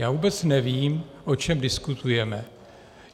Já vůbec nevím, o čem diskutujeme.